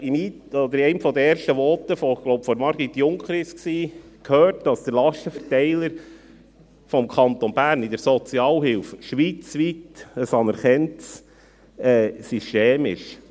Wir haben in einem der ersten Voten – ich glaube, es war von Margrit Junker – gehört, dass der Lastenverteiler des Kantons Bern in der Sozialhilfe ein schweizweit anerkanntes System ist.